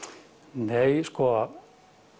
nei sko